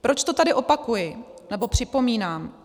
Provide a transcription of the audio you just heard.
Proč to tady opakuji, nebo připomínám.